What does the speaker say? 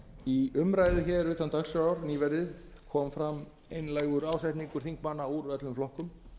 í umræðu hér utan dagskrár nýverið kom fram einlægur ásetningur þingmanna úr öllum flokkum